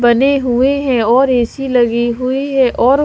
बने हुए हैं और ऐ_सी लगे हुए हैं और--